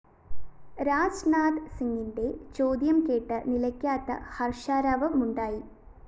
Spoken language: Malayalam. രാജ്‌നാഥ് സിംഗിന്റെ ചോദ്യം കേട്ട് നിലയ്ക്കാത്ത ഹര്‍ഷാരവമുണ്ടായി